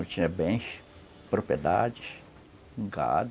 Ele tinha bens, propriedades, um gado.